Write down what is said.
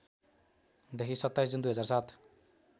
देखि २७ जुन २००७